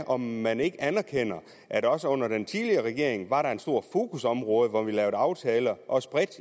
om man ikke anerkender at der også under den tidligere regering var et stort fokusområde og at vi der lavede aftaler også bredt